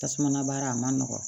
Tasuma baara a ma nɔgɔ